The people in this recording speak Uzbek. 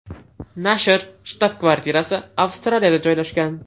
Nashr shtab-kvartirasi Avstraliyada joylashgan.